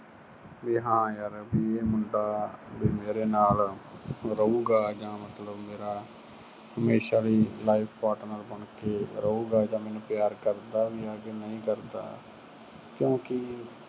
ਵੀ ਹਾਂ ਯਾਰ ਇਹ ਮੁੰਡਾ ਵੀ ਮੇਰੇ ਨਾਲ ਰਹੂਗਾ ਜਾਂ ਮਤਲਬ ਮੇਰਾ ਹਮੇਸ਼ਾ ਲਈ life partner ਬਣ ਕੇ ਰਹੂਗਾ ਜਾਂ ਮੈਨੂੰ ਪਿਆਰ ਕਰਦਾ ਵੀ ਆ ਕਿ ਨਹੀਂ ਕਰਦਾ ਕਿਉਂਕਿ